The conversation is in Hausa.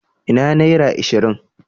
Ina naira ashirin?